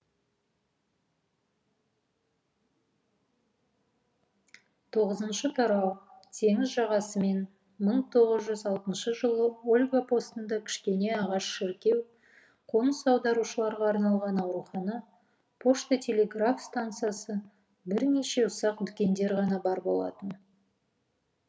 тоғызыншы тарау теңіз жағасымен мың тоғыз жүз алтыншы жылы ольга постында кішкене ағаш шіркеу қоныс аударушыларға арналған аурухана пошта телеграф стансасы бірнеше ұсақ дүкендер ғана бар болатын